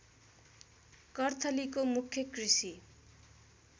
कर्थलीको मुख्य कृषि